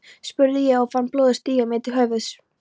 spurði ég og fann blóðið stíga mér til höfuðs.